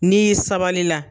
N'i y'i sabali la.